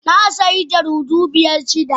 Na sayi jaridu biyar jiya